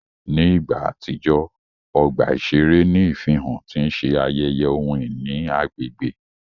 Ní ìgbà àtijọ́, ọgbà iṣere ní ìfihàn ti n ṣe ayeye ohun-ìní agbègbè.